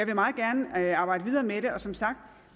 meget gerne arbejde videre med det og som sagt